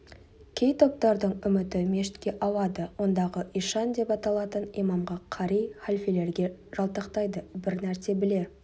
кей топтардың үміті мешітке ауады ондағы ишан деп аталатын имамға қари халфелерге жалтақтайды бір нәрсе біле